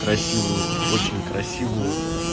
красивую очень красивую